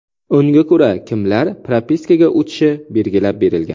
Unga ko‘ra kimlar propiskaga o‘tishi belgilab berilgan.